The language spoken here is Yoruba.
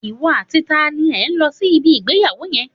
Ìwọ àti ta ni ẹ lọ sí ibi ìgbéyàwó yẹn?